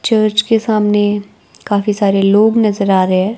Church के सामने काफी सारे लोग नजर आ रहे हैं।